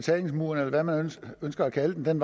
betalingsmuren eller hvad man nu ønsker at kalde den